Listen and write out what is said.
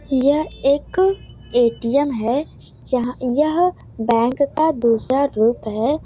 यह एक एटीएम है यह यह बैंक का दूसरा रूप है ।